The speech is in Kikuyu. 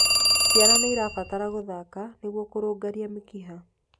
Ciana nĩirabatara gũthaka nĩguo kurungarĩa mĩkiha